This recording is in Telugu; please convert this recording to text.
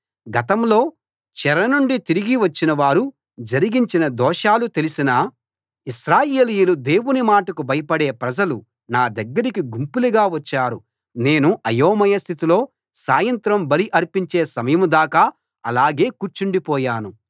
గతంలో చెర నుండి తిరిగి వచ్చినవారు జరిగించిన దోషాలు తెలిసిన ఇశ్రాయేలీయులు దేవుని మాటకు భయపడే ప్రజలు నా దగ్గరికి గుంపులుగా వచ్చారు నేను అయోమయ స్థితిలో సాయంత్రం బలి అర్పించే సమయం దాకా అలాగే కూర్చుండి పోయాను